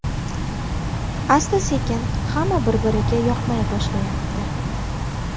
Asta-sekin hamma bir-biriga yoqmay boshlayapti.